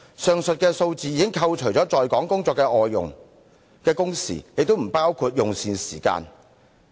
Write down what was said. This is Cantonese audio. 上述數字已扣除了在港工作的外傭，亦不包括用膳時間。